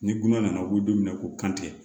Ni gan nana u bɛ don mina ko kan tɛ